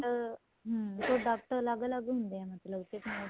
product ਹਮ product ਅਲੱਗ ਅਲੱਗ ਹੁੰਦੇ ਏ ਮਤਲਬ ਕੀ